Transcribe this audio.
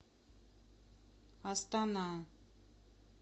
астана